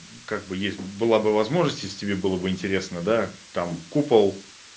ну как бы есть была бы возможность если тебе было бы интересно да там купол